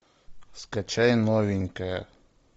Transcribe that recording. скачай новенькое